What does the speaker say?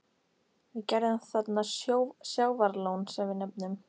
Við gerðum þarna sjávarlón, sem við nefnum